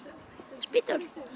spýtur